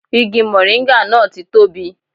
Igi mọ̀ríngà náà ti tóbi